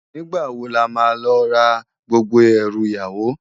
Nigbá wó làmá lò rá gbógbó èrú iyàwó?